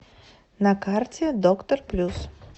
на карте доктор плюс